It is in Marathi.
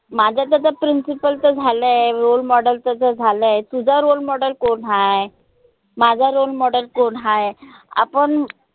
माझं त त principal च झालाय role model तच झालय तुझा role model कोण हाय? माझा role model कोण हाय? आपन